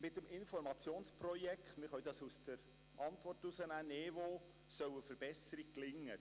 Mit dem Informationsprojekt NeVo soll eine Verbesserung gelingen, wie wir der Antwort des Regierungsrats entnehmen können.